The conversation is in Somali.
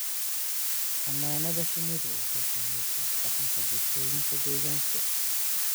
Xannaanada shinnidu waxay saamaysaa dhaqanka bulshooyinka deegaanka.